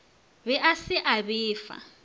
be a se a befa